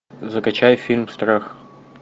закачай фильм страх